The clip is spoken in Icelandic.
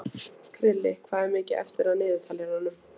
Krilli, hvað er mikið eftir af niðurteljaranum?